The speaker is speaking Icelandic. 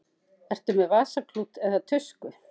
Ertu með vasaklút eða tusku?